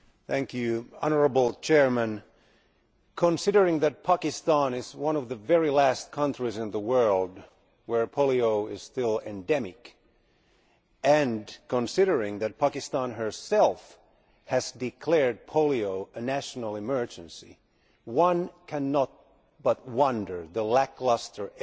Mr President, considering that Pakistan is one of the very last countries in the world in which polio is still endemic and, considering that Pakistan herself has declared polio a national emergency, one cannot but wonder at the lacklustre effort